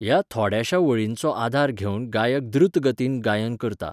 ह्या थोड्याशा वळिंचो आदार घेवन गायक द्रुत गतीन गायन करता.